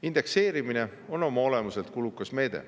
Indekseerimine on oma olemuselt kulukas meede.